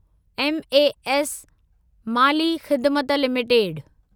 MAS माली ख़िदिमत limited